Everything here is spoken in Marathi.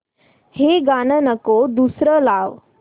हे गाणं नको दुसरं लाव